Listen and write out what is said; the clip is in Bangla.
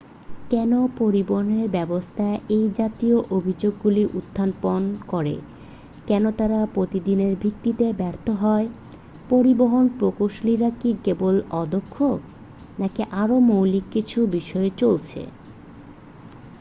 কেন পরিবহন ব্যাবস্থা এই জাতীয় অভিযোগগুলো উত্থাপন করে কেন তাঁরা প্রতিদিনের ভিত্তিতে ব্যর্থ হয় পরিবহন প্রকৌশলীরা কি কেবল অদক্ষ নাকি আরও মৌলিক কিছু বিষয় চলছে